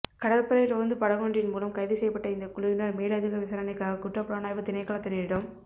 கடற்படை ரோந்து படகொன்றின் மூலம் கைதுசெய்யபட்ட இந்த குழுவினர் மேலதிக விசாரணைக்காக குற்றப்புலனாய்வுத் திணைக்களத்தினரிடம்